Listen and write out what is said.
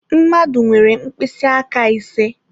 Mmadụ nwere mkpịsị aka ise.